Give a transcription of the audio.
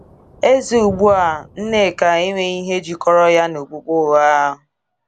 Eze ugbu a, Nneka, enweghị ihe jikọrọ ya na okpukpe ụgha.